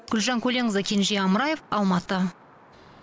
гүлжан көленқызы кенже амраев алматы